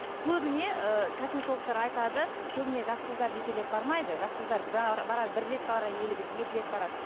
көбіне ііі косметологтар айтады көбіне жас қыздар жетелеп бармайды жас қыздар бар барар бір рет барар елігіп екі рет барар